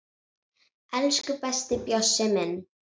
Elsku besti Bjössi minn.